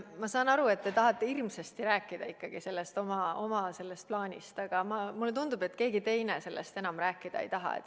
Ma saan aru, et te tahate hirmsasti rääkida ikkagi oma plaanist, aga mulle tundub, et keegi teine sellest enam rääkida ei taha.